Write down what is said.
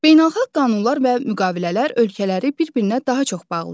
Beynəlxalq qanunlar və müqavilələr ölkələri bir-birinə daha çox bağlayır.